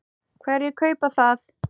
Hverjir kaupa það?